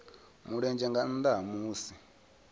mulenzhe nga nnda ha musi